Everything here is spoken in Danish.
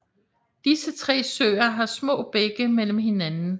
Disse tre søer har små bække mellem hinanden